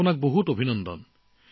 আপোনালৈ মোৰ অভিনন্দন